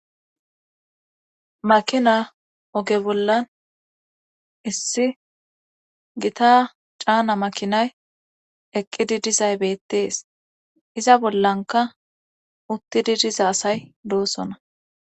makina oge bollan issi gita caana makinay eqqidi dizay beettees iza bollanka uttidi diza asay doosona